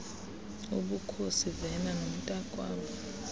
ubukhosi vena nomntakwabo